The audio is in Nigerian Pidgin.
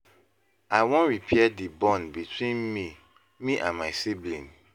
I wan repair di bond between me me and my sibling.